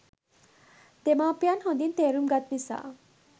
දෙමාපියන් හොඳින් තේරුම් ගත් නිසා